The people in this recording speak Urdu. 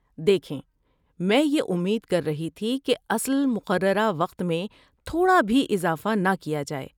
دیکھیں، میں یہ امید کر رہی تھی کہ اصل مقررہ وقت میں تھوڑا بھی اضافہ نہ کیا جائے۔